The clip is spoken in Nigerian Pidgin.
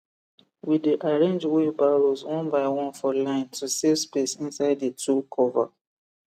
we dey arrange wheelbarrows one by one for line to save space inside the tool cover